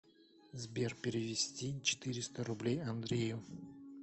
сбер перевести четыреста рублей андрею